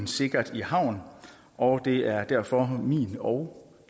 sikkert i havn og det er derfor min og